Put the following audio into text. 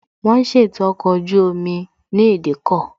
Wón ń ṣètò ọkọ̀ ojú omi ní ìdíkọ̀